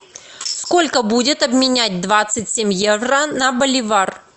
сколько будет обменять двадцать семь евро на боливар